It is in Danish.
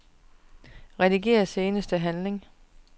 Rediger seneste handling.